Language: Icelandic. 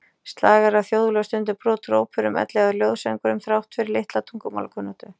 Slagara, þjóðlög, stundum brot úr óperum ellegar ljóðasöngvum, þrátt fyrir litla tungumálakunnáttu.